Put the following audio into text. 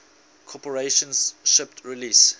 corporation shipped release